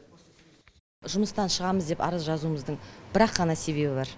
жұмыстан шығамыз деп арыз жазуымыздың бір ақ қана себебі бар